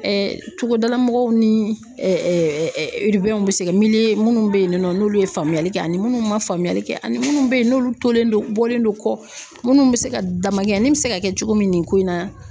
togodala mɔgɔw ni bɛ se ka minnu bɛ yen nɔ n'olu ye faamuya kɛ, ani minnu ma faamuyali kɛ, ani minnu bɛ yen n'olu tolen don bɔlen don kɔ minnu bɛ se ka damakɛɲɛnin bɛ se ka kɛ cogo min nin ko in na.